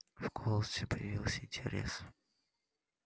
в голосе появился интерес